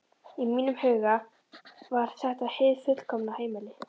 Í mínum huga var þetta hið fullkomna heimili.